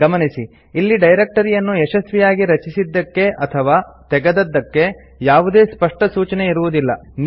ಗಮನಿಸಿ ಇಲ್ಲಿ ಡೈರೆಕ್ಟರಿಯನ್ನು ಯಶಸ್ವಿಯಾಗಿ ರಚಿಸಿದ್ದಕ್ಕೆ ಅಥವಾ ತೆಗೆದದ್ದಕ್ಕೆ ಯಾವುದೇ ಸ್ಪಷ್ಟ ಸೂಚನೆ ಇರುವುದಿಲ್ಲ